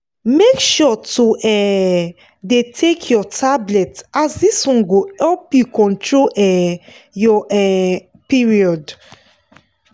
make sure to um dey take your tablet as this one go help you control um your um period.